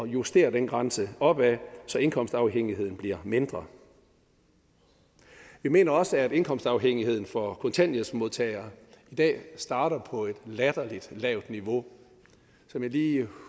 justerer den grænse opad så indkomstafhængigheden bliver mindre vi mener også at indkomstafhængigheden for kontanthjælpsmodtagere i dag starter på et latterligt lavt niveau som jeg lige